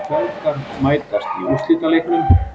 Feðgar mætast í úrslitaleiknum